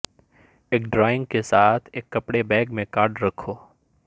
ایک ڈرائنگ کے ساتھ ایک کپڑے بیگ میں کارڈ رکھو